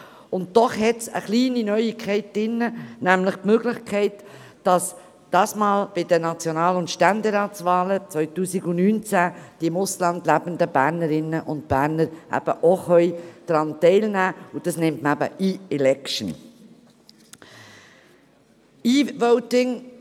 Dennoch gibt es eine kleine Neuigkeit, nämlich die Möglichkeit, dass die im Ausland lebenden Bernerinnen und Berner ebenfalls an den National- und Ständeratswahlen 2019 teilnehmen können.